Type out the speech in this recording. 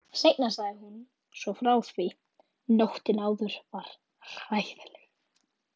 Seinna sagði hún svo frá því: Nóttin áður var hræðileg.